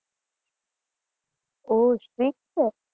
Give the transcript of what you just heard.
ઓ strict છે